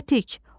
Tətik.